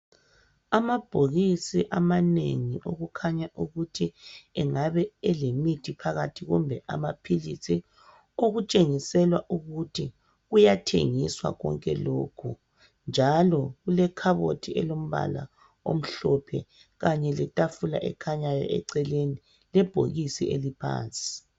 Amabhokisi amanengi okukhanya ukuthi engabe elemithi phakathi kumbe amapilisi, okutshengisela ukuthi kuyathengiswa konke lokhu. Njalo kulekhabothi elombala omhlophe khanye lethafula ekhanyayo eceleni, lebhokisi eliphansi.